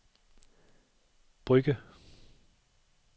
Brugge